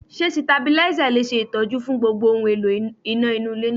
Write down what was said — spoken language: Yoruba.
Ṣé Sitabílísà le ṣe Ìtọ́jú fún gbogbo ohun èlò iná nínú ilé náà?